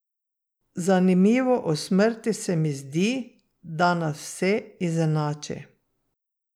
Zanimivo o smrti se mi zdi, da nas vse izenači.